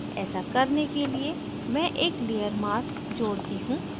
ऐसा करने के लिए मैं एक layer mask layer mask जोड़ती हूँ